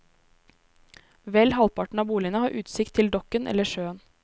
Vel halvparten av boligene har utsikt til dokken eller sjøen.